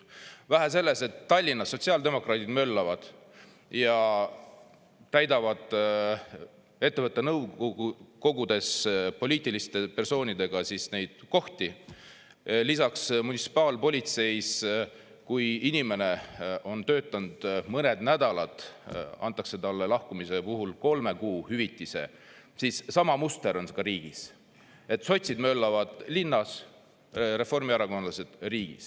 Vähe sellest, et Tallinnas sotsiaaldemokraadid möllavad ja täidavad ettevõtte nõukogudes poliitiliste persoonidega siis neid kohti, lisaks munitsipaalpolitseis, kui inimene on töötanud mõned nädalad, antakse talle lahkumise puhul kolme kuu hüvitise, siis sama muster on ka riigis: sotsid möllavad linnas, reformierakondlased riigis.